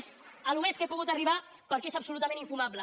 és al més que he pogut arribar perquè és absolutament infumable